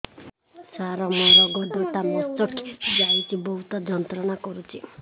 ସାର ମୋର ଗୋଡ ଟା ମଛକି ଯାଇଛି ବହୁତ ଯନ୍ତ୍ରଣା କରୁଛି